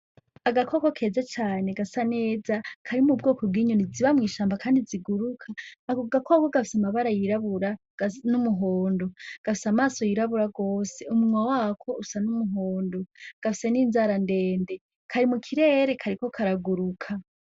Agakoko keza cane gasa neza, kari mu bwoko bw'inyoni ziba mw'ishamba kandi ziguruka, ako gakoko gafise amabara yirabura, gasa n'umuhondo, gafise amaso yirabura gose, umunwa wako usa n'umuhondo, gafise n'inzara ndende, kari mu kirere kariko karaguruka.